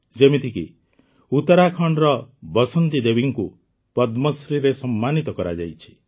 ଯେମିତିକି ଉତ୍ତରାଖଣ୍ଡର ବସନ୍ତି ଦେବୀଙ୍କୁ ପଦ୍ମଶ୍ରୀରେ ସମ୍ମାନିତ କରାଯାଇଛି